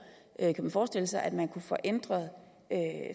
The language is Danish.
kan man forestille sig at man kunne få ændret